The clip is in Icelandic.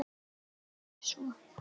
Nei, ekki svo